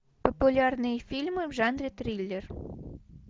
популярные фильмы в жанре триллер